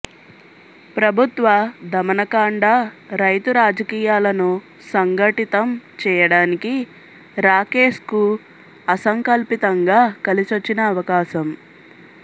ప్రభుత్వ దమనకాండ రైతు రాజకీయాలను సంఘటితం చేయడానికి రాకేశ్కు అసంకల్పితంగా కలిసొచ్చిన అవకాశం